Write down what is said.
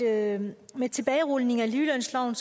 at med tilbagerulningen af ligelønsloven